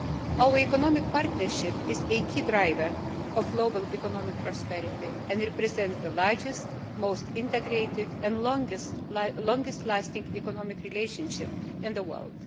Our economic partnership is a key driver of global economic prosperity and represents the largest, most integrated and longest lasting economic relationship in the world.